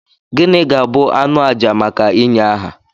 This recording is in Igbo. Gịnị ga-abụ anụ àjà maka ịnye aha?